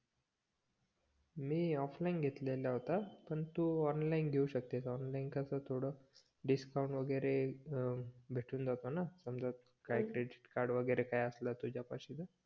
मी offline घेतलेला होता पण तू ऑनलाईन घेवू शकतेस ऑनलाईन कस थोड डिस्काउंट वगेरे भेटून जातो न समजा काही क्रेडिट कार्ड वगेरे असला तुझ्या पाशी त